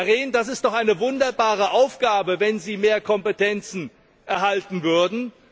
Herr Rehn, das ist doch eine wunderbare Aufgabe, wenn Sie mehr Kompetenzen erhalten würden.